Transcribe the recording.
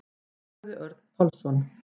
Sagði Örn Pálsson.